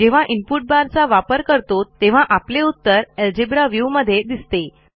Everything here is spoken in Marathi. जेव्हा इनपुट बार चा वापर करतो तेव्हा आपले उत्तर अल्जेब्रा व्ह्यू मध्ये दिसते